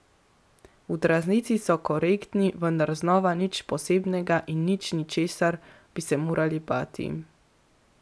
V tranziciji so korektni, vendar znova nič posebnega in nič, česar bi se morali bati.